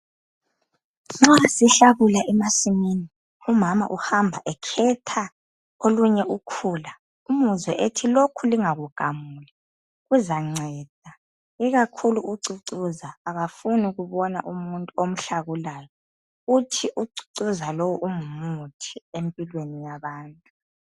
Nxa sihlakula emasimini umama uhamba ekhetha olunye ukhula umuzwe ethi, 'Lokhu lingakugamuli kuzanceda'. Ikakhulu ucucuza akafuni ukubona umuntu omhlakulayo. Uthi ucucuza lowu ungumuthi empilweni yabantu.